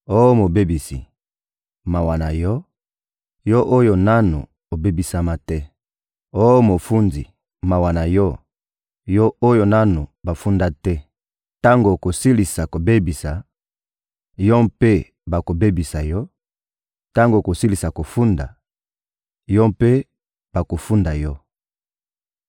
Oh mobebisi, mawa na yo, yo oyo nanu obebisama te! Oh mofundi, mawa na yo, yo oyo nanu bafunda te! Tango okosilisa kobebisa, yo mpe bakobebisa yo, tango okosilisa kofunda, yo mpe bakofunda yo.